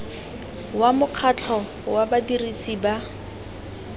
wa mokgatlho wa badirisi ba